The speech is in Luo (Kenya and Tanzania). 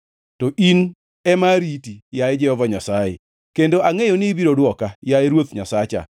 To in ema ariti, yaye Jehova Nyasaye, kendo angʼeyo ni ibiro dwoka, yaye Ruoth Nyasacha.